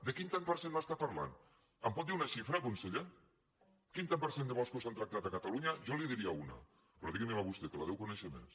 de quin tant per cent em parla em pot dir una xifra conseller quin tant per cent de boscos s’han tractat a catalunya jo n’hi diria una però digui me la vostè que la deu conèixer més